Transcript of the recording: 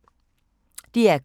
DR K